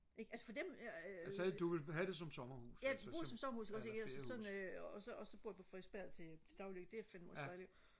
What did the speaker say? ikke altså for dem ja bruger det som sommerhus ikke også ikke altså sådan og så og så bor jeg på Frederiksberg til til dagligt det er fandme også dejligt